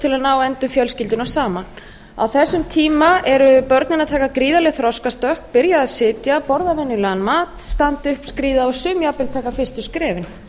til að ná endum fjölskyldunnar saman á þessum tíma eru börnin að taka gríðarleg þroskastökk byrja að sitja borða venjulegan mat standa upp skríða og sum jafnvel taka fyrstu skrefin